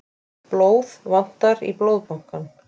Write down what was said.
Blóð vantar í Blóðbankann